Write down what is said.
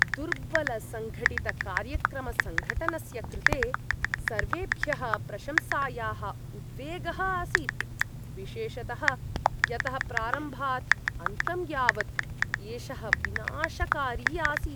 दुर्बलसङ्गठितकार्यक्रमसङ्घटनस्य कृते सर्वेभ्यः प्रशंसायाः उद्वेगः आसीत्, विशेषतः यतः प्रारम्भात् अन्तं यावत् एषः विनाशकारी आसीत्।